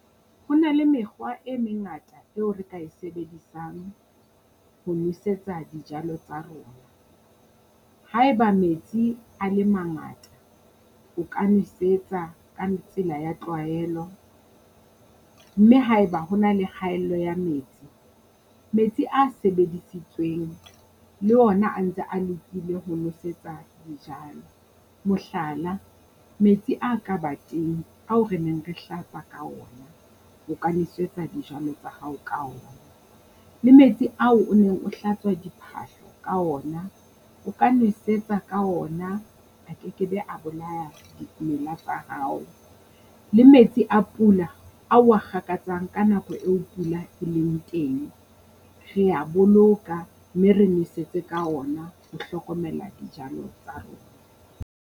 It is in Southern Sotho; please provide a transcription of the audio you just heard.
Ho na le mekgwa e mengata eo re ka e sebedisang ho nosetsa dijalo tsa rona. Haeba metsi a le mangata, o ka nwesetsa ka tsela ya tlwaelo, mme haeba ho na le kgaello ya metsi, metsi a sebedisitsweng le ona a ntse a lokile ho nosetsa dijalo. Mohlala, metsi a ka ba teng ao re neng re hlapa ka ona, o ka nwesetsa dijalo tsa hao ka ona. Le metsi ao o neng o hlatswa diphahlo ka ona, o ka nwesetsa ka ona a kekebe a bolaya dimela tsa hao. Le metsi a pula ao wa kgakatsang ka nako eo pula e leng teng, rea boloka, mme re nosetse ka ona ho hlokomela dijalo tsa rona.